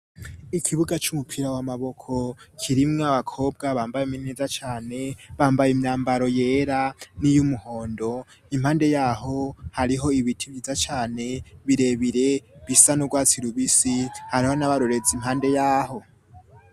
Ikibuga c'umupira wa maboko kirimwo abakobwa bambaye imini neza cane bambaye imyambaro yera n'iy'umuhondo, impande yaho hariho ibiti vyiza cane birebire bisa n'urwatsi rubisi hariho n'abarorezi impande yaho.